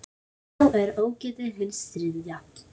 Þá er ógetið hins þriðja.